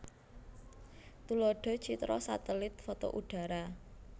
Tuladhah citra satelit foto udhara